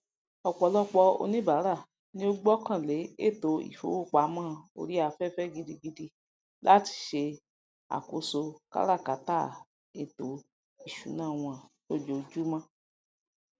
ọpọlọpọ oníbàrà ni o gbọkàn lé ètò ifowopamọ ori aféfé gidigidi lati se àkóso káràkátà ètò ìṣúná wọn lójoojúmó